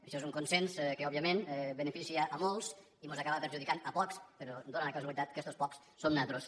això és un consens que òbviament beneficia molts i mos acaba perjudicant a pocs però dóna la casualitat que estos pocs som nosaltres